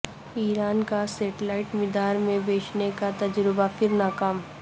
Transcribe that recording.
ایران کا سیٹلائٹ مدار میں بھیجنے کا تجربہ پھر ناکام